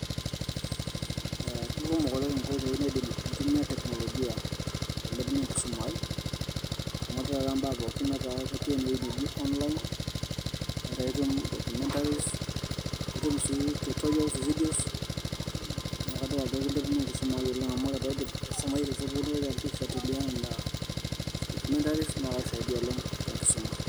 Ee ekumok naleng' enkoitoi niidim aitumiya tekinolojia ailepunyie enkisuma aii amu ore taata ibaa pookin ketii enewueji neji onlain, etaa etum documentaries nitum sii tutorial videos naa kadol ajo keilepunyie enkisuma aii oleng' amu paidip aisumayu te sukuul naitoki alotu aifuatilia Nena documentaries naa kakisaidia oleng' tenkisuma.